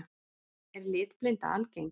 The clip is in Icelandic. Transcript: Er litblinda algeng?